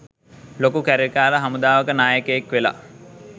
ලොකු කැරලිකාර හමුදාවක නායකයෙක් වෙලා.